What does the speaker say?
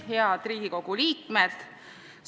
Head Riigikogu liikmed!